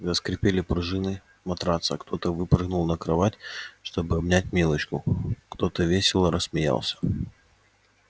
заскрипели пружины матраца кто-то выпрыгнул на кровать чтобы обнять милочку кто-то весело рассмеялся